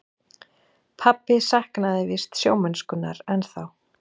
Pabbi saknaði víst sjómennskunnar ennþá.